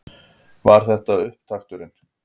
Var þetta upptakturinn?